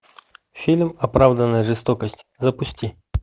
фильм оправданная жестокость запусти